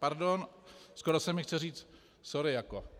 Pardon, skoro se mi chce říct sorry jako.